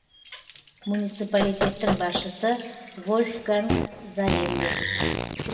муниципалитеттің басшысы вольфганг зарембе